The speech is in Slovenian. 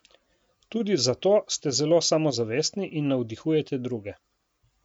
Tudi zato ste zelo samozavestni in navdihujete druge.